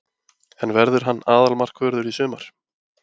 En verður hann aðalmarkvörður í sumar?